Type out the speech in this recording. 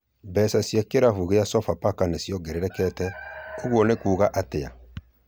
Mbeca cia kĩlafu kĩa Sofapaka nĩ ciongererekete, ũguo nĩ kuuga atĩa?